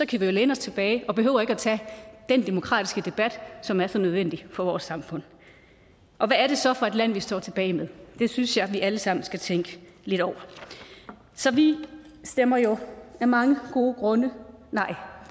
kan vi jo læne os tilbage og behøver ikke at tage den demokratiske debat som er så nødvendig for vores samfund hvad er det så for et land vi står tilbage med det synes jeg vi alle sammen skal tænke lidt over så vi stemmer jo af mange gode grunde nej